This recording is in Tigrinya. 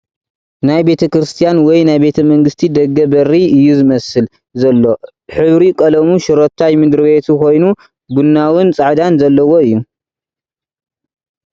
ናይ ቤተ-ክርስትያን ወይ ናይ ቤተመንግስቲ ደገ በሪ እዩ ዝመስል ዘሎ ሕብሪ ቐለሙ ሽሮታይ ምድር-ቤቱ ኾይኑ ቡናውን ፃዕዳን ዘለዎ እዩ ።